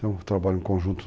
Então, o trabalho em conjunto.